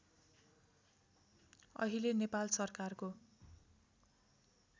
अहिले नेपाल सरकारको